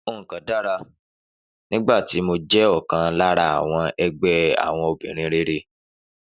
Nǹkan dára nígbà tí mo jẹ́ ọ̀kan lára àwọn ẹgbẹ́ àwọn obìnrin rere.